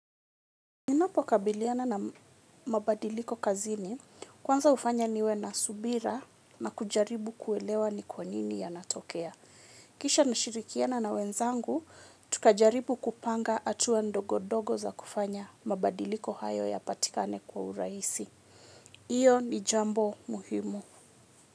Ninapo kabiliana na mabadiliko kazini, kwanza hufanya niwe na subira na kujaribu kuelewa ni kwa nini yanatokea. Kisha nashirikiana na wenzangu, tukajaribu kupanga hatua ndogo-dogo za kufanya mabadiliko hayo yapatikane kwa urahisi. Iyo ni jambo muhimu.